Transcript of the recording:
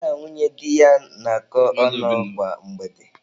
Ya na nwunye di ya na-akọ ọnụ kwa mgbede.